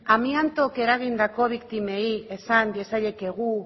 amiantoak eragindako biktimei esan diezaiekegu